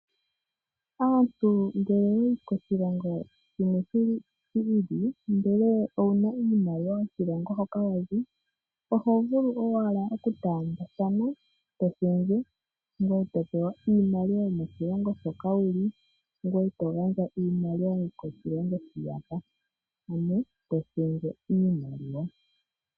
Aantu ngele yayi koshilongo shimwe shilili ,ndele owuna iimaliwa yokoshilongo hoka wa zi, oho vulu owala oku taambathana , to shendje ngoye to pewa iimaliwa yomoshilongo shoka wuli, ngoye to gandja iimaliwa yokoshilongo shiyaka ,ano to shendje iimaliwa.